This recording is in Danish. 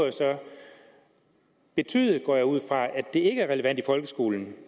betyde går jeg ud fra at det ikke er relevant i folkeskolen